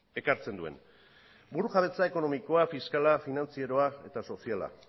ekartzen duen burujabetza ekonomikoa fiskala finantzieroa eta soziala